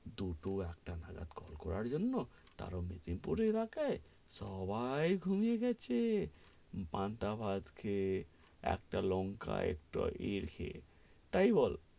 দুটো একটা নাগাদ কল করার জন্য, তাও আগে, সবাই ঘুমিয়ে গেছে পান্তা ভাত খেয়ে, একটা লঙ্কা, একটু , এটাই বল.